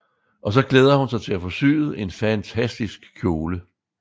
Og så glæder hun sig til at få syet en fantastisk kjole